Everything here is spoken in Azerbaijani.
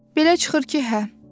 Belə çıxır ki, hə.